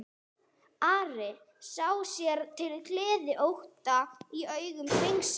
Ari sá sér til gleði ótta í augum drengsins.